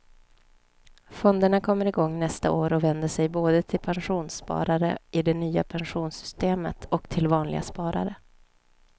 Fonderna kommer igång nästa år och vänder sig både till pensionssparare i det nya pensionssystemet och till vanliga sparare.